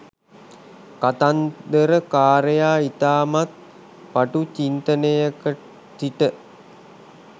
කතන්දර කාරයා ඉතාමත් පටු චින්තනයක සිට